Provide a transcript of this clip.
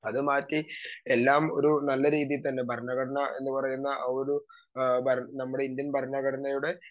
speaker 2 അതു മാറ്റി എല്ലാം ഒരു നല്ല രീതിയിൽ തന്നെ ഭരണഘടന എന്ന് പറയുന്ന ആ ഒരു അഹ് ഇന്ത്യൻ ഭരണഘടനയുടെ